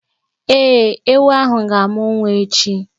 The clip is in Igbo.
Ee, ewu ahụ ga-amụ nwa echi.